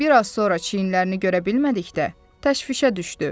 Lakin bir az sonra çiyinlərini görə bilmədikdə təşvişə düşdü.